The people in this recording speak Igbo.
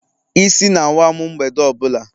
Isi na-awa m mgbede ọ bụla.